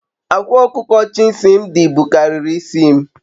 Akwa okuko Chisimdi bukariri isi m